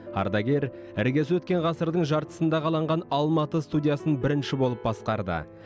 ардагер іргесі өткен ғасырдың жартысында қаланған алматы студиясын бірінші болып басқарды